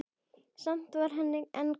Samt var henni ekki kalt.